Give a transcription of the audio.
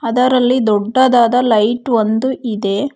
ಅದರಲ್ಲಿ ದೊಡ್ಡದಾದ ಲೈಟ್ ಒಂದು ಇದೆ.